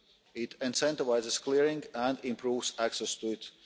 it incentivises clearing and improves access to it